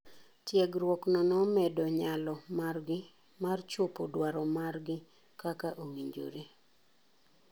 Tiegruok no nomedo nyalo mar gi mar chopo dwaro mar gi kaka owinjore.